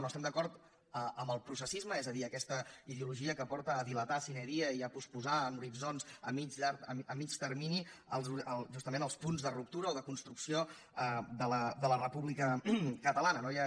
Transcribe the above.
no estem d’acord amb el processisme és a dir aquesta ideologia que porta a dilatar sine die i a posposar en horitzons a mitjà termini justament els punts de ruptura o de construcció de la república catalana